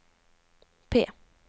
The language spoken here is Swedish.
P